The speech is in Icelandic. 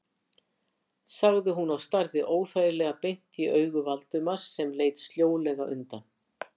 sagði hún og starði óþægilega beint í augu Valdimars sem leit sljólega undan.